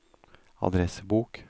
adressebok